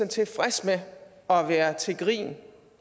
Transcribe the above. tilfreds med at være til grin